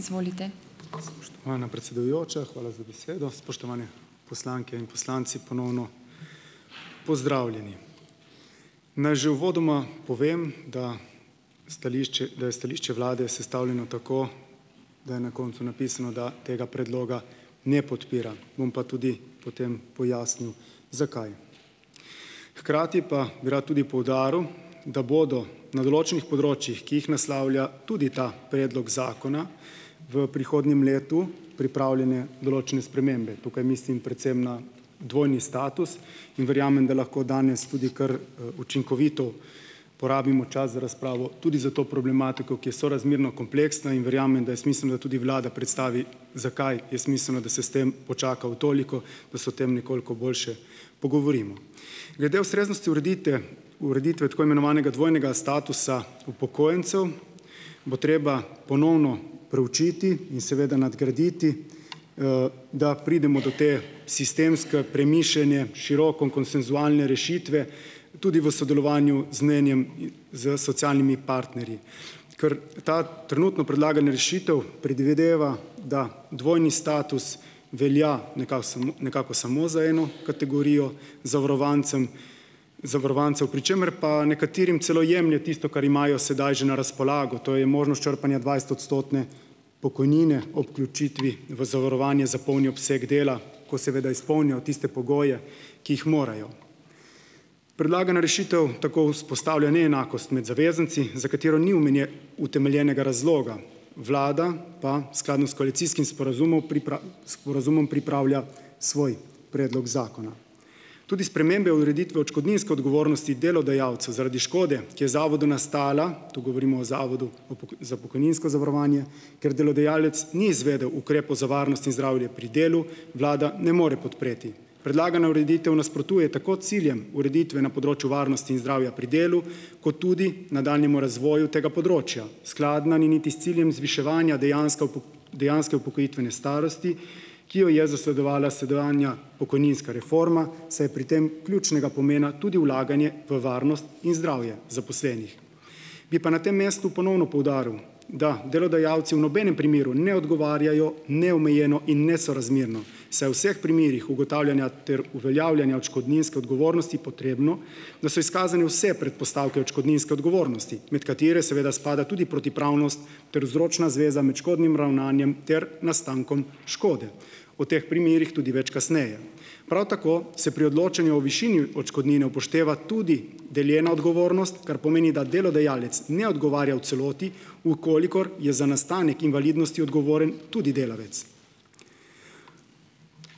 Spoštovana predsedujoča, hvala za besedo. Spoštovane poslanke in poslanci, ponovno pozdravljeni. Naj že uvodoma povem, da stališče, da je stališče vlade sestavljeno tako, da je na koncu napisano, da tega predloga ne podpira. Bom pa tudi potem pojasnil, zakaj. Hkrati pa bi rad tudi poudaril, da bodo na določenih področjih, ki jih naslavlja tudi ta predlog zakona, v prihodnjem letu pripravljene določene spremembe. Tukaj mislim predvsem na dvojni status in verjamem, da lahko danes tudi kar, učinkovito porabimo čas za razpravo tudi za to problematiko, ki je sorazmerno kompleksna, in verjamem, da je smiselno, da tudi vlada predstavi, zakaj je smiselno, da se s tem počaka v toliko, da se o tem nekoliko boljše pogovorimo. Glede ustreznosti uredite, ureditve tako imenovanega dvojnega statusa upokojencu bo treba ponovno proučiti in seveda nadgraditi, da pridemo do te sistemske, premišljene, široko konsenzualne rešitve tudi v sodelovanju z mnenjem, s socialnimi partnerji, kar ta trenutno predlagana rešitev predvideva, da dvojni status velja samo, nekako samo za eno kategorijo zavarovancem, zavarovancev, pri čemer pa nekaterim celo jemlje tisto, kar imajo sedaj že na razpolago, to je možnost črpanja dvajsetodstotne pokojnine ob vključitvi v zavarovanje za polni obseg dela, ko seveda izpolnijo tiste pogoje, ki jih morajo. Predlagana rešitev tako vzpostavlja neenakost med zavezanci, za katero ni utemeljenega razloga. Vlada pa skladno s koalicijskim sporazumno sporazumom pripravlja svoj predlog zakona. Tudi spremembe ureditve odškodninske odgovornosti delodajalcev zaradi škode, ki je zavodu nastala, tu govorimo o zavodu o za pokojninsko zavarovanje, ker delodajalec ni izvedel ukrepov za varnost in zdravje pri delu, vlada ne more podpreti. Predlagana ureditev nasprotuje tako ciljem ureditve na področju varnosti in zdravja pri delu kot tudi nadaljnjemu razvoju tega področja. Skladna ni niti s ciljem zviševanja dejanske dejanske upokojitvene starosti, ki jo je zasledovala sedanja pokojninska reforma, saj je pri tem ključnega pomena tudi vlaganje v varnost in zdravje zaposlenih. Bi pa na tem mestu ponovno poudaril, da delodajalci v nobenem primeru ne odgovarjajo neomejeno in nesorazmerno, saj je v vseh primerih ugotavljanja ter uveljavljanja odškodninske odgovornosti potrebno, da so izkazane vse predpostavke odškodninske odgovornosti, med katere seveda spada tudi protipravnost ter vzročna zveza med škodnim ravnanjem ter nastankom škode. O teh primerih tudi več kasneje. Prav tako se pri odločanju o višini odškodnine upošteva tudi deljena odgovornost, kar pomeni, da delodajalec ne odgovarja v celoti, v kolikor je za nastanek invalidnosti odgovoren tudi delavec.